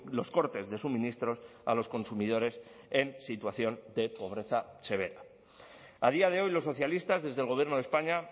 los cortes de suministros a los consumidores en situación de pobreza severa a día de hoy los socialistas desde el gobierno de españa